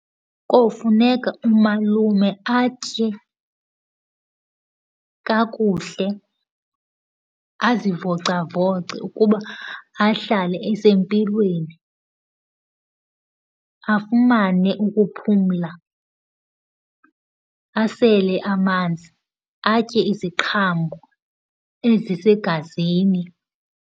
Kofuneka umalume atye kakuhle, azivoca voca ukuba ahlale esempilweni. Afumane ukuphumla, asele amanzi, atye iziqhamo ezisegazini.